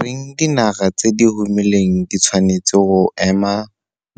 reng dinaga tse di humileng di tshwanetse go ema